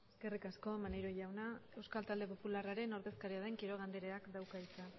eskerrik asko maneiro jauna euskal talde popularraren ordezkaria den quiroga andereak dauka hitza